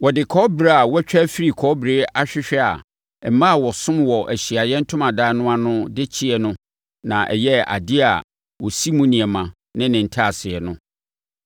Wɔde kɔbere a wɔatwa afiri kɔbere ahwehwɛ a mmaa a wɔsom wɔ Ahyiaeɛ Ntomadan no ano no de kyɛeɛ no na ɛyɛɛ adeɛ a wɔsi mu nneɛma ne ne ntaaseɛ no.